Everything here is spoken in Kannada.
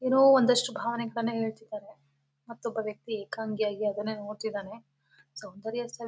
ಏನೋ ಒಂದಷ್ಟು ಭಾವನೆಗಳನ್ನ ಹೇಳ್ತಿದಾರೆ ಮತ್ತೊಬ್ಬ ವ್ಯಕ್ತಿ ಎಕಾಂಗೆ ಆಗಿ ಅದ್ನೇ ನೋಡ್ತಿದಾನೆ ಸೌಂದರ್ಯ ಸವಿ